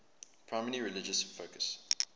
primarily religious focus